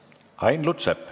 Ain Lutsepp.